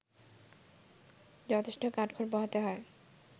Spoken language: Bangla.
যথেষ্ট কাঠখড় পোহাতে হয়